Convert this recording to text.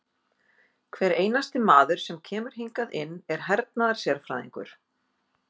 Hver einasti maður sem kemur hingað inn er hernaðarsérfræðingur!